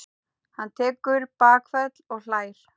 Hann tekur bakföll og hlær.